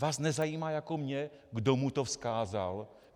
Vás nezajímá jako mě, kdo mu to vzkázal?